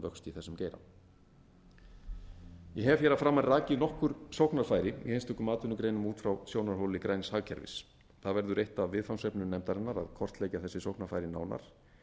vöxt í þessum geira ég hef hér að framan rakið nokkur sóknarfæri í einstökum atvinnugreinum út frá sjónarhóli græns hagkerfis það verður eitt af viðfangsefnum nefndarinnar að kortleggja þessi sóknarfæri nánar